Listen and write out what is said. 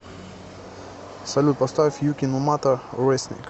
салют поставь юки нумата ресник